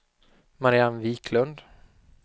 Marianne Viklund